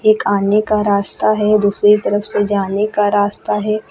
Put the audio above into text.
एक आने का रास्ता है दूसरी तरफ से जाने का रास्ता है।